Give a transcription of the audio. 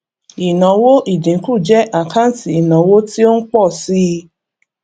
ìnáwó ìdínkù jẹ àkáǹtì ìnáwó tí ó ń pọ síi